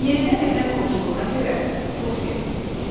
Yenidən evinə qovuşduğuna görə çox sevinirdi.